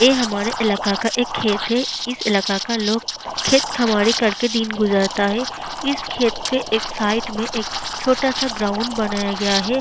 ये हमारे इलाका का एक खेत है इस इलाका का लोग खेत-खमारी कर के दिन गुजारता है इस खेत के एक साइड में एक छोटा सा ग्राउंड बनाया गया है।